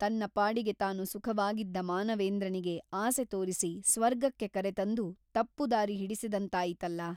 ತನ್ನ ಪಾಡಿಗೆ ತಾನು ಸುಖವಾಗಿದ್ದ ಮಾನವೇಂದ್ರನಿಗೆ ಆಸೆ ತೋರಿಸಿ ಸ್ವರ್ಗಕ್ಕೆ ಕರೆತಂದು ತಪ್ಪು ದಾರಿ ಹಿಡಿಸಿದಂತಾಯಿತಲ್ಲಾ?